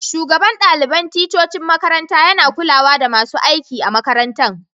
Shugaban dalibain ticcocin makaranta ya na kulawa da masun aiki a'makarantan.